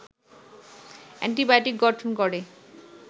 antibiotic গঠন করে